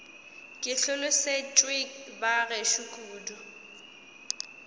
ke hlolosetšwe ba gešo kudu